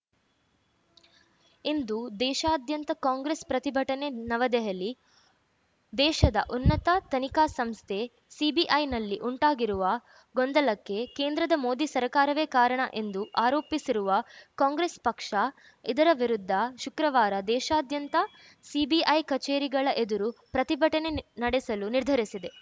ಇಂದು ದೇಶಾದ್ಯಂತ ಕಾಂಗ್ರೆಸ್‌ ಪ್ರತಿಭಟನೆ ನವದೆಹಲಿ ದೇಶದ ಉನ್ನತ ತನಿಖಾ ಸಂಸ್ಥೆ ಸಿಬಿಐನಲ್ಲಿ ಉಂಟಾಗಿರುವ ಗೊಂದಲಕ್ಕೆ ಕೇಂದ್ರದ ಮೋದಿ ಸರ್ಕಾರವೇ ಕಾರಣ ಎಂದು ಆರೋಪಿಸಿರುವ ಕಾಂಗ್ರೆಸ್‌ ಪಕ್ಷ ಇದರ ವಿರುದ್ಧ ಶುಕ್ರವಾರ ದೇಶಾದ್ಯಂತ ಸಿಬಿಐ ಕಚೇರಿಗಳ ಎದುರು ಪ್ರತಿಭಟನೆ ನಿ ನಡೆಸಲು ನಿರ್ಧರಿಸಿದೆ